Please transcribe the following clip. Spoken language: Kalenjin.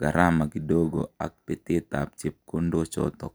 gharama kidogo ak petet ab chepkondochotok.